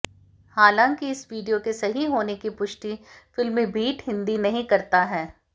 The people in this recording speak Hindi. हालांकि इस वीडियो के सही होने की पुष्टि फिल्मीबीट हिंदी नहीं करता है